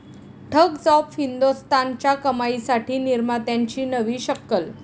thugs of हिंदोस्तान'च्या कमाईसाठी निर्मात्यांची नवी शक्कल